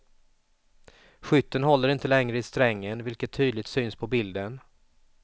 Skytten håller inte längre i strängen, vilket tydligt syns på bilden.